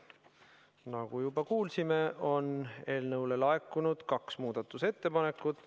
Nagu juba kuulsime, on eelnõu kohta laekunud kaks muudatusettepanekut.